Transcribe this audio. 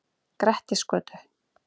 Grettisgötu